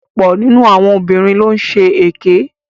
Ọ̀pọ̀ nínu àwọn obìnrin ló ń ṣe èké.